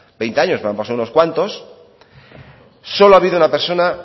veinte años pero han pasado unos cuantos solo ha habido una